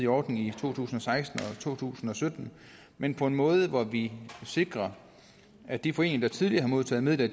ordning i to tusind og seksten og to tusind og sytten men på en måde hvor vi sikrer at de foreninger der tidligere har modtaget midler